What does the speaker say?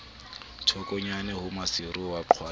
thokonyana ho maseru wa qwading